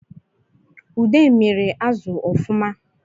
Ude miri azụ ọfụma